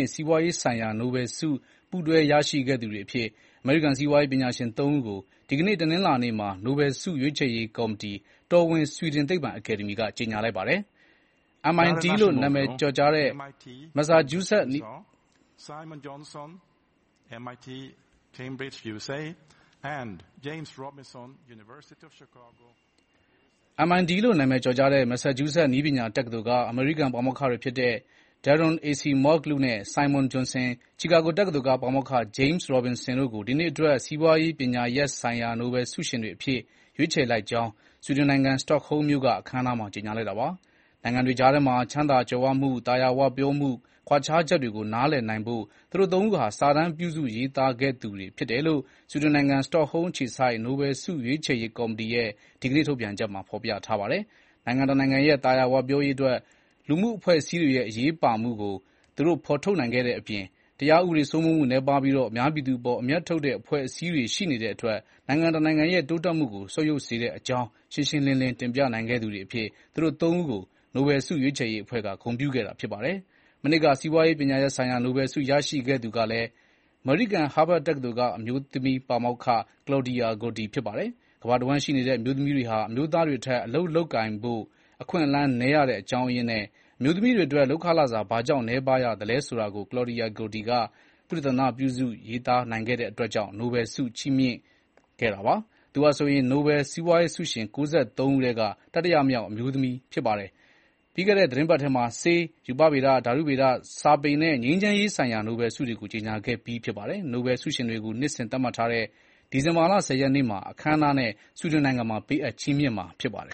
က် စီးပွားရေးဆိုင်ရာ နိုဘယ်ဆု ပူးတွဲ ရရှိသူတွေအဖြစ် အမေရိကန် စီးပွားရေးပညာရှင် သုံးဦးကို ဒီကနေ့ တနင်္လာနေ့မှာ နိုဘယ်ဆု ရွေးချယ်ရေးကော်မီတီ တော်ဝင်ဆွီဒင် သိပ္ပံအကယ်ဒမီက ကြေညာလိုက်ပါတယ်။ MIT လို့ နာမည်ကျော်ကြားတဲ့ မက်ဆာချူးဆက် နည်းပညာတက္ကသိုလ် က အမေရိကန်ပါမောက္ခတွေဖြစ်တဲ့ Daron Acemoglu နဲ့ Simon Johnson, ချီကာဂို တက္ကသိုလ်က ပါမောက္ခ James Robinson တို့ ဒီနှစ်အတွက် စီးပွားရေးပညာရပ်ဆိုင်ရာ နိုဘယ်ဆုရှင်တွေအဖြစ် ရွေးချယ်လိုက်ကြောင်း ဆွီဒင်နိုင်ငံ စတော့ဟုမ်းမြို့က အခမ်းအနားမှာ ကြေညာလိုက်တာပါ။ နိုင်ငံတွေကြားထဲမှာ ချမ်းသာကြွယ်၀မှု၊ သာယာ၀ပြောမှု ကွာခြားချက်တွေကို နားလည်နိုင်ဖို့ သူတို့ သုံးဦးဟာ စာတမ်းပြုစုရေးသားခဲ့သူတွေဖြစ်တယ်လို့ ဆွီဒင်နိုင်ငံ စတော့ဟုမ်းအခြေစိုက် နိုဘဲယ်ဆု ရွေးချယ်ရေးကော်မီတီရဲ့ ဒီကနေ့ ထုတ်ပြန်ချက်မှာ ဖေါ်ပြထားပါတယ်။ နိုင်ငံတနိုင်ငံရဲ့ သာယာ၀ပြောရေးအတွက် လူမှုအဖွဲ့အစည်းတွေရဲ့ အရေးပါမှုကို သူတို့ဖေါ်ထုတ်နိုင်ခဲ့တဲ့အပြင် တရားဥပဒေစိုးမိုးမှု နည်းပါးပြီး အများပြည်သူအပေါ် အမြတ်ထုတ်တဲ့ အဖွဲ့အစည်းတွေရှိနေတဲ့အတွက် နိုင်ငံတနိုင်ငံရဲ့ တိုးတက်မှုကို ဆုတ်ယုတ်စေတဲ့အကြောင်း ရှင်းရှင်းလင်းလင်း တင်ပြနိုင်ခဲ့သူတွေအဖြစ် သူတို့သုံးဦးကို နိုဘယ်ဆုရွေးချယ်ရေးအဖွဲ့က ဂုဏ်ပြုခဲ့တာဖြစ်ပါတယ်။ မနှစ်က စီးပွားရေးပညာရပ်ဆိုင်ရာ နိုဘယ်လ်ဆုရရှိခဲ့သူကလည်း အမေရိကန် ဟားဗတ်တက္ကသိုလ်က အမျိုးသမီးပါမောက္ခ Claudia Goldi ဖြစ်ပါတယ်။ ကမ္ဘာတဝှမ်းရှိနေတဲ့ အမျိုးသမီးတွေဟာ အမျိုးသားတွေထက် အလုပ်လုပ်ကိုင်ဖို့ အခွင့်အလမ်းနည်းရတဲ့ အကြောင်းအရင်းနဲ့ အမျိုးသမီးတွေအတွက် လုပ်ခလစာ ဘာကြောင့် နည်းပါးရသလဲဆိုတာကို Claudia Goldi သုတေသနပြုစု ရေးသားနိုင်ခဲ့တဲ့အတွက် ကြောင့် နိုဘယ်လ် ဆု ချီးမြှင့်ခံခဲ့ရတာပါ။ သူဟာဆိုရင် နိုဘယ်စီးပွားရေးဆုရှင် ၉၃ ဦးထဲက တတိယမြောက် အမျိုးသမီးဖြစ်ပါတယ်။ ပြီးခဲ့တဲ့ သီတင်းပတ်ထဲမှာ ဆေး၊ ရူပဗေဒ၊ ဓာတုဗေဒ၊ စာပေနဲ့ ငြိမ်းချမ်းရေးဆိုင်ရာ နိုဘယ်ဆုတွေကို ကြေညာခဲ့ပြီးဖြစ်ပါတယ်။ နိုဘယ်ဆုရှင်တွေကို နှစ်စဉ်သတ်မှတ်ထားတဲ့ ဒီဇင်ဘာလ (၁၀) ရက်နေ့မှာ အခမ်းအနားနဲ့ ဆွီဒင်နိုင်ငံမှာ ပေးအပ်ချီးမြှင့်မှာ ဖြစ်ပါတယ်